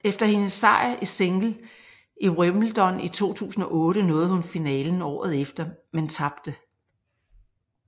Efter hendes sejr i single i wimbledon i 2008 nåede hun finalen året efter men tabte